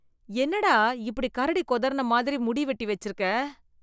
என்னடா இப்படி கரடி குதறன மாதிரி முடி வெட்டி வச்சிருக்க?